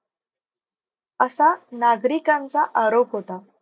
असा नागरिकांचा आरोप होता.